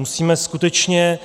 Musíme skutečně